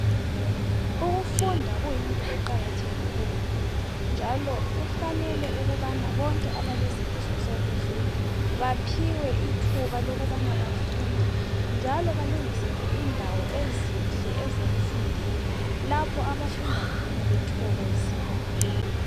Ukufunda kuyinto eqakathekileyo njalo kufanele ukubana bonke abalesifiso sokufunda baphiwe ithuba lokubana bafunde njalo balungiselwe indawo ezinhle ezokufundela lapho abafunda khona bethokozile.